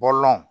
Bɔlɔn